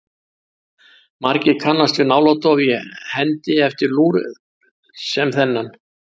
Margir kannast við náladofa í hendi eftir lúr sem þennan.